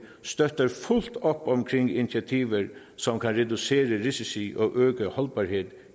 støtter fuldt op om initiativet som kan reducere risici og øge holdbarheden